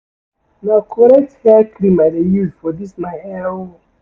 Na correct hair cream I dey use for dis my hair o.